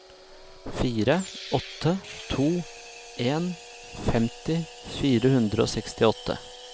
fire åtte to en femti fire hundre og sekstiåtte